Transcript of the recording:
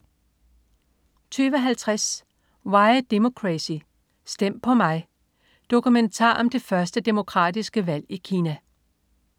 20.50 Why Democracy: Stem på mig. Dokumentar om det første demokratiske valg i Kina